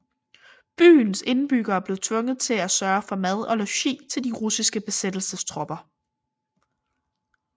Byens indbyggere blev tvunget til at sørge for mad og logi til de russiske besættelsestropper